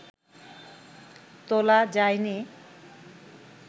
তোলা যায়নি